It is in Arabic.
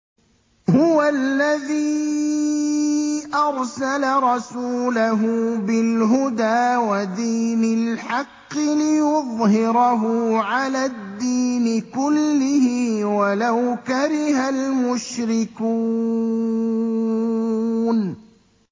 هُوَ الَّذِي أَرْسَلَ رَسُولَهُ بِالْهُدَىٰ وَدِينِ الْحَقِّ لِيُظْهِرَهُ عَلَى الدِّينِ كُلِّهِ وَلَوْ كَرِهَ الْمُشْرِكُونَ